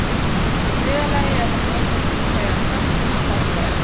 Í þriðja lagi er það notað þegar hrafnar hoppa um.